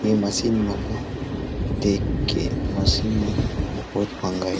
ये मशीन मन ह देख के मशीन मन बहुत मंहगा हे।